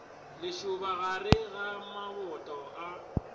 lešoba gare ga maboto a